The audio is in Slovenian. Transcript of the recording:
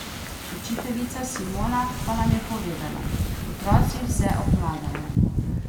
Učiteljica Simona pa nam je povedala: "Otroci vse obvladajo.